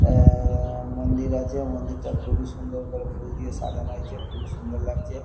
এ উহঃ মন্দির আছে মন্দিরটা খুবই সুন্দর করে ফুল দিয়ে সাজানো হয়েছে খুবই সুন্দর লাগছে।